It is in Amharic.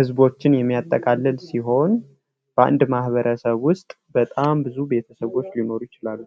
ህዝቦችን የሚያጠቃልል ሲሆን በአንድ ማህበረሰብ ዉስጥ በጣም ብዙ ቤተሰቦች ሊኖሩ ይችላሉ።